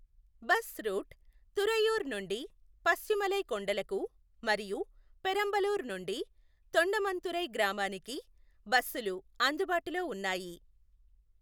Bus route Thuraiyur నుండి పచ్చిమలై కొండలకు మరియు పెరంబలూర్ నుండి తొండమన్తురై గ్రామానికి బస్సులు అందుబాటులో ఉన్నాయి.